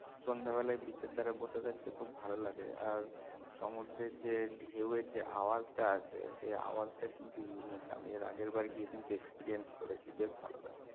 সন্ধাবেলায় beach এর ধরে বসে থাকতে খুব ভালো লাগে আর সমুদ্রের ঢেউয়ের যে আওয়াজটা আসে সেই আওয়াজটা কিন্তু unique আমি এর আগের বার গিয়ে কিন্তু experience করেছি বেশ ভালো লাগে